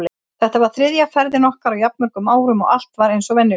Þetta var þriðja ferðin okkar á jafn mörgum árum og allt var eins og venjulega.